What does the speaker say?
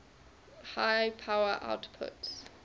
high power outputs